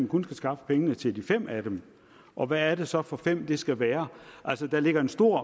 kun skal skaffe penge til de fem af dem og hvad er det så for fem det skal være altså der ligger en stor